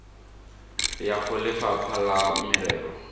ya go lefapha la merero